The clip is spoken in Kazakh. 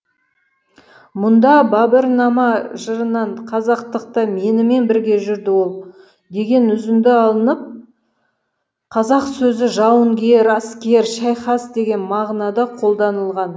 мұнда бабырнама жырынан қазақтықта менімен бірге жүрді ол деген үзінді алынып қазақ сөзі жауынгер әскер шайқас деген мағынада қолданылған